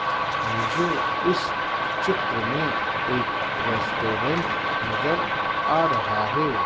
मुझे इस चित्र में एक रेस्टोरेंट नजर आ रहा है।